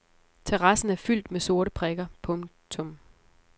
Terrassen er fyldt med sorte prikker. punktum